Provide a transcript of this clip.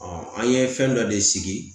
an ye fɛn dɔ de sigi